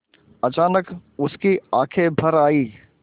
अचानक उसकी आँखें भर आईं